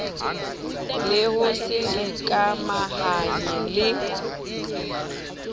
le ho se ikamahanye le